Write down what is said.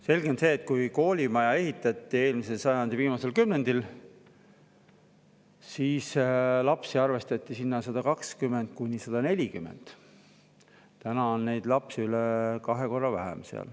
Selge on see, et kui koolimaja eelmise sajandi viimasel kümnendil ehitati, arvestati sinna lapsi 120–140, aga täna on neid seal üle kahe korra vähem.